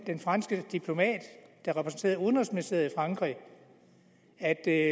den franske diplomat der repræsenterede udenrigsministeriet frankrig at det